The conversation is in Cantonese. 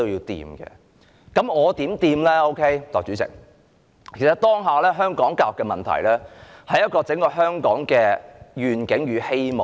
代理主席，其實香港當下的教育問題，關乎香港整體願景與希望。